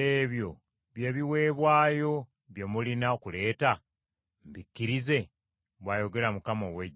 ebyo bye biweebwayo bye mulina okuleeta, mbikkirize?” bw’ayogera Mukama ow’Eggye.